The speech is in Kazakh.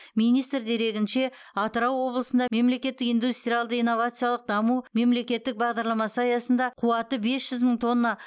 министр дерегінше атырау облысында мемлекеттік индустриялды инновациялық даму мемлекеттік бағдарламасы аясында қуаты бес жүз мың тонна